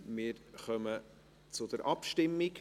Wir kommen zur Abstimmung.